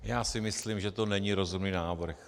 Já si myslím, že to není rozumný návrh.